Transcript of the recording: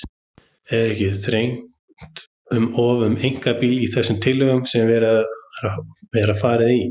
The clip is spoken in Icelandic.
En er ekki þrengt um of að einkabílnum í þeim tillögum sem gerðar hafa verið?